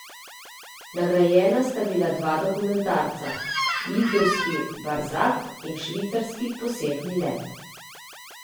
Nagrajena sta bila dva dokumentarca, litovski Barzak in švicarski Posebni let.